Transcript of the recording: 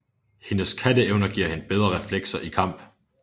Hendes katteevner giver hende bedre reflekser i kamp